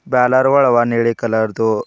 Balor ಗುಳವ ನೀಲಿ colour ದು.